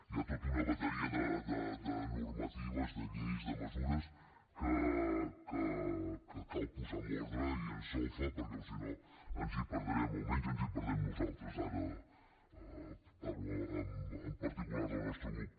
hi ha tota una bateria de normatives de lleis de mesures que cal posar en ordre i en solfa perquè si no ens hi perdrem o almenys ens hi perdem nosaltres ara parlo en particular del nostre grup